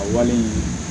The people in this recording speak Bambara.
A wale in